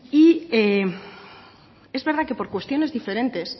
y es verdad que por cuestiones diferentes